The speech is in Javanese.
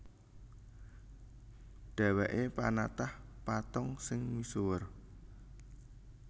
Dhèwèké panatah patung sing misuwur